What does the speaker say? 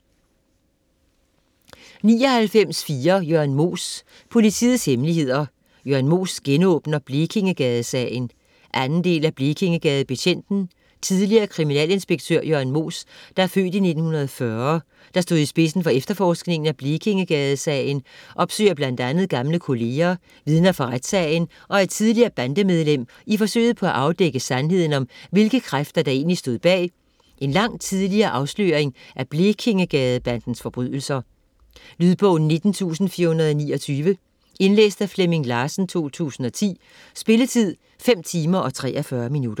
99.4 Moos, Jørn Politiets hemmeligheder: Jørn Moos genåbner Blekingegadesagen 2. del af Blekingegadebetjenten. Tidligere kriminalinspektør Jørn Moos (f. 1940), der stod i spidsen for efterforskningen af Blekingegadesagen, opsøger bl.a. gamle kolleger, vidner fra retssagen og et tidligere bandemedlem i forsøget på at afdække sandheden om hvilke kræfter, der egentlig stod bag en langt tidligere afsløring af Blekingegadebandens forbrydelser. Lydbog 19429 Indlæst af Flemming Larsen, 2010. Spilletid: 5 timer, 43 minutter.